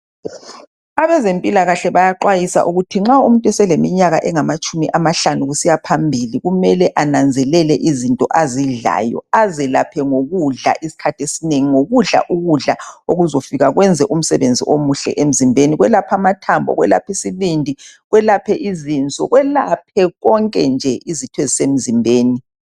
Abezempilakahle bayaxwayiswa ukuthi nxa umuntu uselinyaka engamatshumi amahlanu kusiya phambili kumele ananzelele izinto azidlayo, azelaphe ngokudla isikhathi esinengi ngokudla ukudla okuzafika kwenza umsebenzi omuhle emzimbeni kwelaphe amathambo kwelaphe isibindi kwelaphe izinso kwelaphe konke nje izitho ezisemzimbeni.